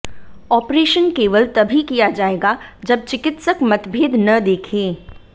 operation केवल तभी किया जाएगा जब चिकित्सक मतभेद न देखे